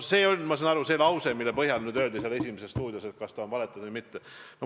" See on see lause, ma saan aru, mille põhjal hakati pärast "Esimest stuudiot" küsima, et kas ta on valetanud või mitte.